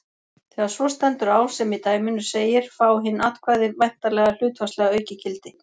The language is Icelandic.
Þegar svo stendur á sem í dæminu segir fá hin atkvæði væntanlega hlutfallslega aukið gildi.